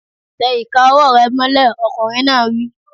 Tẹ ìka ọwọ́ rẹ̀ mọ́lẹ̀! Ọkùnrin náà wí.